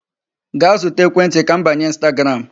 Gaa zụta ekwentị ka m banye Instagram.